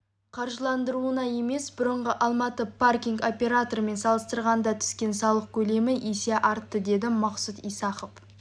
қаржыландыруында емес бұрынғы алматы паркинг операторымен салыстырғанда түскен салық көлемі есе артты деді мақсұт исахов